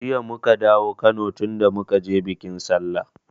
Jiya muka dawo Kano tunda muka je biƙin sallah